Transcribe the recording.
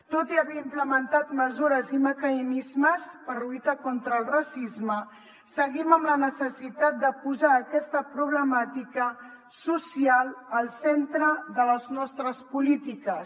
tot i haver implementat mesures i mecanismes per lluitar contra el racisme seguim amb la necessitat de posar aquesta problemàtica social al centre de les nostres polítiques